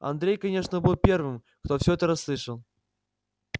андрей конечно был первым кто все это расслышал